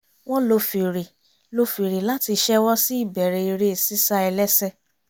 wọ́n lo fèrè lo fèrè láti ṣẹ́wọ́ sí ìbẹ̀rẹ̀ eré sísá ẹlẹ́sẹ̀